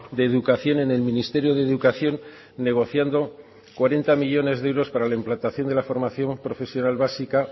de educación en el ministerio de educación negociando cuarenta millónes de euros para la implantación de la formación profesional básica